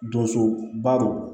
Donsoba don